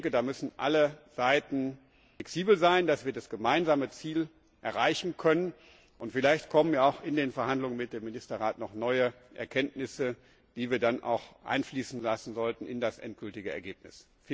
Da müssen alle Seiten flexibel sein, damit wir das gemeinsame Ziel erreichen können. Vielleicht kommen ja auch in den Verhandlungen mit dem Ministerrat noch neue Erkenntnisse, die wir dann auch einfließen lassen sollten in das endgültige Ergebnis.